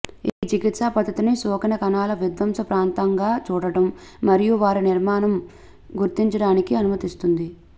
ఈ చికిత్సా పద్ధతిని సోకిన కణాల విధ్వంస ప్రాంతంగా చూడండి మరియు వారి నిర్మాణం గుర్తించడానికి అనుమతిస్తుంది